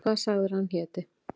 Hvað sagðirðu að hann héti?